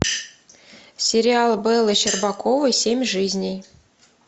сериал беллы щербаковой семь жизней